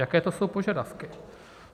Jaké to jsou požadavky?